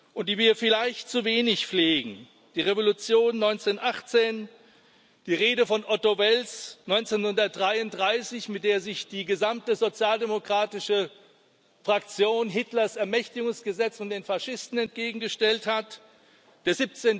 und die wir vielleicht zu wenig pflegen die Revolution 1918, die Rede von Otto Wels 1933, mit der sich die gesamte sozialdemokratische Fraktion Hitlers Ermächtigungsgesetz von den Faschisten entgegengestellt hat, der